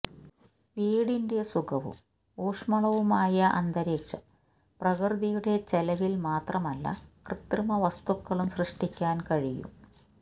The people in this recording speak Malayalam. വീടിൻറെ സുഖവും ഊഷ്മളവുമായ അന്തരീക്ഷം പ്രകൃതിയുടെ ചെലവിൽ മാത്രമല്ല കൃത്രിമ വസ്തുക്കളും സൃഷ്ടിക്കാൻ കഴിയും